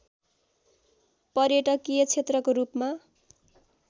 पर्यटकीय क्षेत्रको रूपमा